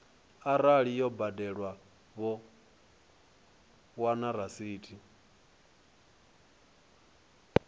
arali yo badelwa vho wana rasithi